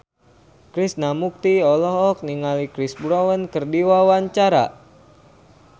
Krishna Mukti olohok ningali Chris Brown keur diwawancara